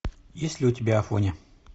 есть ли у тебя афоня